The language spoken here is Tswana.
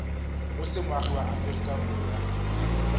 o se moagi wa aforika